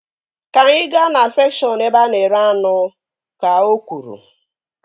Ka anyị gaa na sekshọn ebe a na-ere anụ! Ka o kwuru